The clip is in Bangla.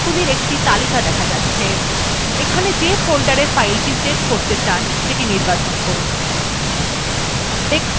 folderগুলি একটি তালিকা দেখা যাচ্ছে এখানে যে folderwe file সেভ করতে চান সেটি নির্বাচন করুন